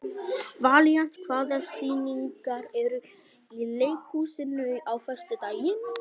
Valíant, hvaða sýningar eru í leikhúsinu á föstudaginn?